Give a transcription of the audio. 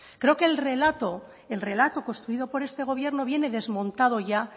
creo que el relato el relato construido por este gobierno viene desmontado ya